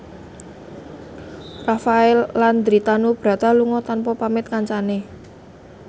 Rafael Landry Tanubrata lunga tanpa pamit kancane